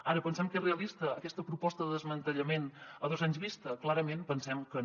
ara pensem que és realista aquesta proposta de desmantellament a dos anys vista clarament pensem que no